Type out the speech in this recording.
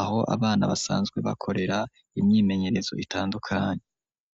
aho abana, basanzwe bakorera, imyimenyerezo, itandukanye.